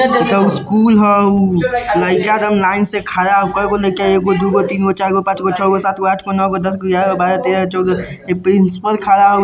इते स्कुल हाउ लैका सब लाईन में खड़ा एगो दूगो तिनगो चारगो पांचगो छगो सातगो आठगो नोगो दसगो ग्यारहगो बारह तेरा चौदह यह प्रिंसपल खड़ा --